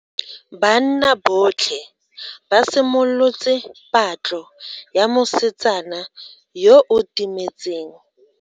Banna botlhe ba simolotse patlo ya mosetsana yo o timetseng.